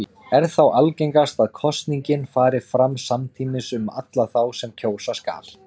Er þá algengast að kosningin fari fram samtímis um alla þá sem kjósa skal.